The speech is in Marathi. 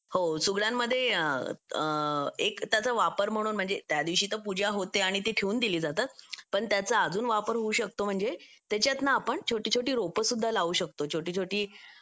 हो सुगड्यांमधे हे त्याचा वापर म्हणून म्हणजे त्या दिवशी तो पूजा होते आणि ती ठेवून दिली जातात पण त्याचा अजून वापर होऊ शकतो म्हणजे त्याच्यात ना आपण छोटी छोटी रोप सुद्धा लावू शकतो छोटी छोटी